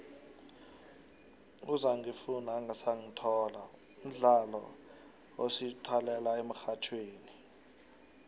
uzangifuna ungasangithola mdlolo esiwulalela emxhatjhweni